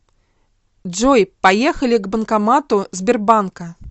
джой поехали к банкомату сбербанка